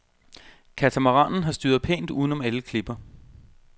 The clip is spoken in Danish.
Katamaranen har styret pænt uden om alle klipper.